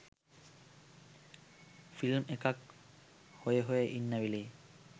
film එකක් හොය හොය ඉන්න වෙලේ